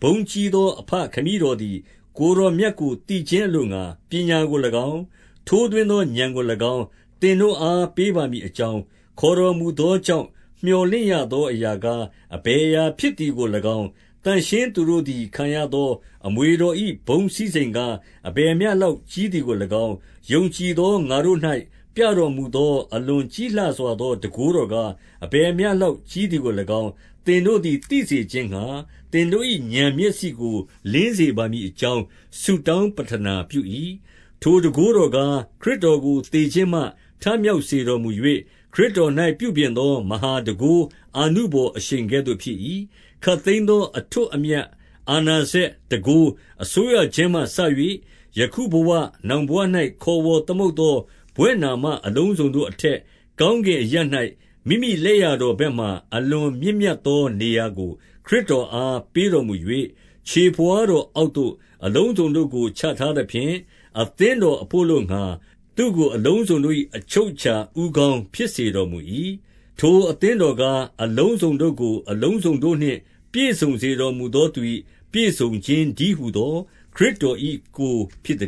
ဘုန်းကြီး သော အဘခမည်းတော်သည် ကိုယ်တော်မြတ်ကို သိခြင်း အလိုငှါ ပညာကို၎င်း၊ ထိုးထွင်းသောဥာဏ်ကို၎င်း၊ သင်တို့အား ပေးပါမည်အကြောင်း၊ 18 ခေါ်တော်မူသောကြောင့် မြော်လင့်ရသောအရာကား အဘယ်အရာဖြစ်သည်ကို၎င်း၊ သန့်ရှင်းသူတို့ သည် ခံရသောအမွေတော်၏ ဘုန်းစည်းစိမ်ကား အဘယ်မျှလောက်ကြီးသည်ကို၎င်း၊ 19 ယုံကြည်သောငါတို့၌ ပြတော်မူသော အလွန်ကြီးလှစွာသော တန်ခိုးတော်ကား အဘယ်မျှလောက်ကြီး သည်ကို၎င်း၊ သင်တို့သည်သိစေခြင်းငှါ၊ သင်တို့၏ ဥာဏ်မျက်စိကို လင်းစေပါမည်အကြောင်း ဆုတောင်း ပဌနာပြု၏။ 20 ထိုတန်ခိုးတော်ကား၊ ခရစ်တော်ကိုသေခြင်းမှထမြောက်စေတော်မူ၍ ခရစ်တော်၌ပြုပြင်သော မဟာ တန်ခိုးအာနုဘော်အရှိန်ကဲ့သို့ဖြစ်၏။ 21 ခပ်သိမ်းသော အထွဋ်အမြတ်၊ အာဏာစက်၊ တန်ခိုး၊ အစိုးရခြင်းမှစ၍ ယခုဘဝနောင်ဘဝ၌ ခေါ် ဝေါ်သမုတ်သောဘွဲ့နာမအလုံးစုံတို့အထက်၊ ကောင်းကင်အရပ်၌ မိမိလက်ျာတော်ဘက်မှာ အလွန်မြင့်မြတ် သောနေရာကို ခရစ်တော်အား ပေးတော်မူ၍၊ 22 ခြေဘဝါးတော်အောက်သို့ အလုံးစုံတို့ကို ချထားသဖြင့်၊ အသင်းတော်ဘို့အလိုငှါ၊ သူ့ကိုအလုံးစုံတို့၏ အချုပ်အခြာ ဦးခေါင်းဖြစ်စေတော်မူ၏။ 23 ထိုအသင်တော်ကား၊ အလုံးစုံတို့ကို အလုံးစုံတို့နှင့် ပြည့်စုံတော်မူသော သူ၏ပြည့်စုံခြင်းတည်းဟူသော ခရစ်တော်၏ကိုယ် ဖြစ်သ